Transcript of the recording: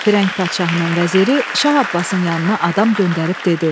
Firəng padşahının vəziri Şah Abbasın yanına adam göndərib dedi: